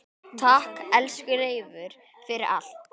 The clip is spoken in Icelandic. Takk, elsku Leifur, fyrir allt.